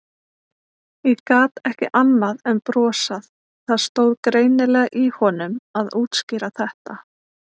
Ég gat ekki annað en brosað, það stóð greinilega í honum að útskýra þetta.